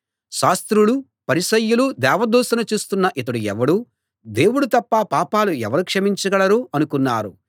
శాస్త్రులూ పరిసయ్యులూ దేవదూషణ చేస్తున్న ఇతడు ఎవడు దేవుడు తప్ప పాపాలు ఎవరు క్షమించగలరు అనుకున్నారు